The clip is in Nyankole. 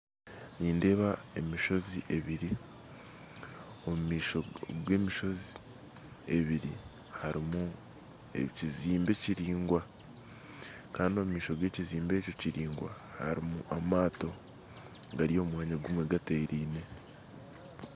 Nindeeba emishozi ebiri omu maisho g'emishozi ebiri harimu ekizimbe kiraingwa, kandi omu maisho g'ekizimbe ekyo kiringwa harimu amato gari omu mwanya gumwe gateriine